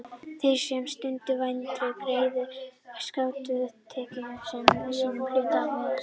Þeir sem stunda vændi greiða skatta af tekjum sínum og eru hluti af velferðarkerfinu.